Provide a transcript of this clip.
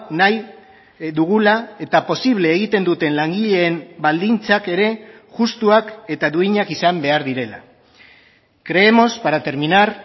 nahi dugula eta posible egiten duten langileen baldintzak ere justuak eta duinak izan behar direla creemos para terminar